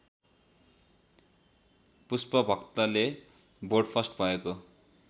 पुष्पभक्तले board first भएको